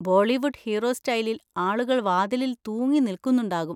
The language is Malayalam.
ബോളിവുഡ് ഹീറോ സ്റ്റൈലിൽ ആളുകൾ വാതിലിൽ തൂങ്ങി നിൽക്കുന്നുണ്ടാകും.